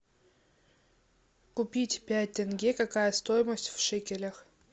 купить пять тенге какая стоимость в шекелях